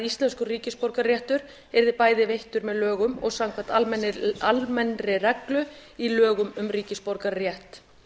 íslenskur ríkisborgararéttur yrði bæði veittur með lögum og samkvæmt almennri reglu í lögum um ríkisborgararétt